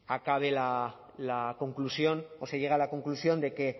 acabe la conclusión o se llegue a la conclusión de que